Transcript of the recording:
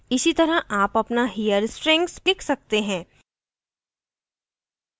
इसी तरह आप अपना here strings लिख सकते हैं